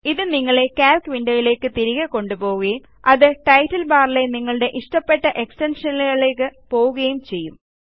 ഇത് നിങ്ങളെ calc window യിലേയ്ക്ക് തിരികെ കൊണ്ടുപോവുകയും അത് ടൈറ്റിൽ ബാറിലെ നിങ്ങളുടെ ഇഷ്ടപ്പെട്ട എക്സ്റ്റൻഷനുകളിലേയ്ക്ക് പോവുകയും ചെയ്യും